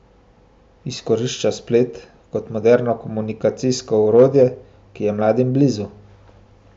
Izkorišča splet kot moderno komunikacijsko orodje, ki je mladim blizu.